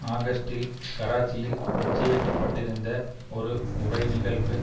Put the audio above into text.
ஆகஸ்டில் கராச்சியில் நிச்சயிக்கப்பட்டிருந்த ஒரு உரை நிகழ்வு